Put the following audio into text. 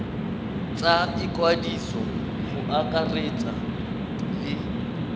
tsa ikwadiso go akaretsa le